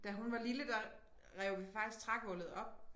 Da hun var lille der rev vi faktisk trægulvet op